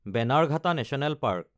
Bannerghatta national park